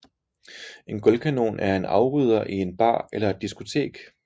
En gulvkanon er en afrydder i en bar eller et diskotek